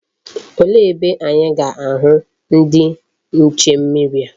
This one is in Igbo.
Olee ebe anyi ga-ahu ndi nche mmiri a?